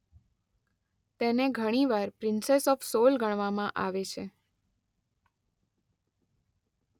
તેને ઘણીવાર princess of soul ગણવામાં આવે છે.